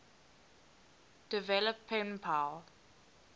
develop pen pal